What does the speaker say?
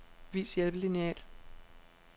Vis hjælpelineal.